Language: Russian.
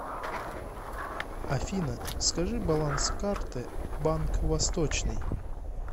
афина скажи баланс карты банк восточный